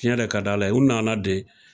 Cɛn yɛrɛ ka d'Ala ye u nana de